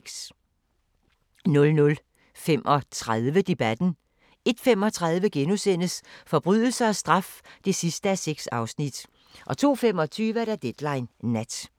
00:35: Debatten 01:35: Forbrydelse og straf (6:6)* 02:25: Deadline Nat